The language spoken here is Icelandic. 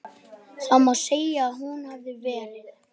Það má segja að hún hafi verið.